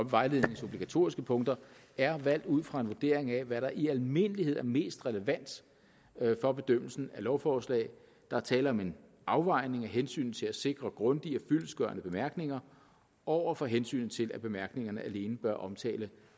vejledningens obligatoriske punkter er valgt ud fra en vurdering af hvad der i almindelighed er mest relevant for bedømmelsen af lovforslag der er tale om en afvejning af hensynet til at sikre grundige og fyldestgørende bemærkninger over for hensynet til at bemærkningerne alene bør omtale